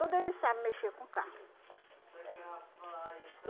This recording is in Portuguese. Tudo eles sabem mexer com carro. É